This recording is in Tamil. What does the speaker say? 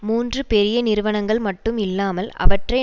மூன்று பெரிய நிறுவனங்கள் மட்டும் இல்லாமல் அவற்றை